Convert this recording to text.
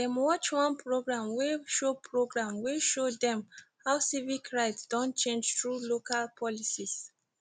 dem watch one programme wey show programme wey show dem how civic rights don change thru local policies